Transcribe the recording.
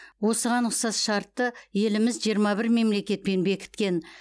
осыған ұқсас шартты еліміз жиырма бір мемлекетпен бекіткен